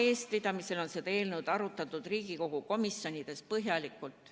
Tema eestvedamisel on seda eelnõu arutatud Riigikogu komisjonides põhjalikult.